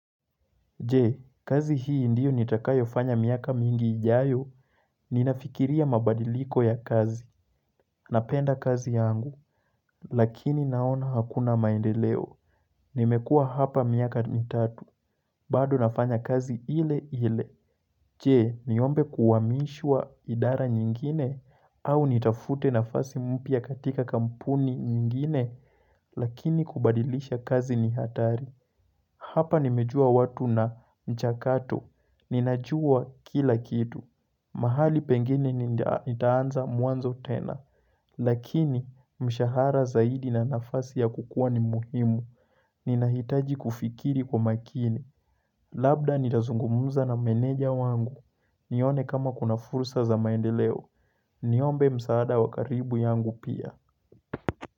Je, kazi hii ndiyo nitakayofanya miaka mingi ijayo, ninafikiria mabadiliko ya kazi, napenda kazi yangu, lakini naona hakuna maendeleo, nimekuwa hapa miaka mitatu, bado nafanya kazi ile ile. Jee, niombe kuhamishwa idara nyingine au nitafute nafasi mpya katika kampuni nyingine lakini kubadilisha kazi ni hatari. Hapa nimejua watu na mchakato. Ninajua kila kitu. Mahali pengine nitaa nitaanza mwanzo tena. Lakini mshahara zaidi na nafasi ya kukua ni muhimu. Ninahitaji kufikiri kwa makini. Labda nitazungumza na meneja wangu. Nione kama kuna fursa za maendeleo Niombe msaada wa karibu yangu pia.